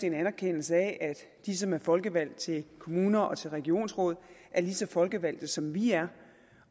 en anerkendelse af at de som er folkevalgte til kommuner og til regionsråd er lige så folkevalgte som vi er